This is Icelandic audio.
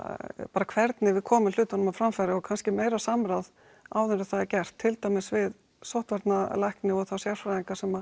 bara hvernig við komum hlutunum á framfæri og kannski meira samráð áður en það er gert til dæmis við sóttvarnarlækni og þá sérfræðinga sem